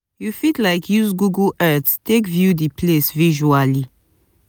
you fit use like google earth take view di place visually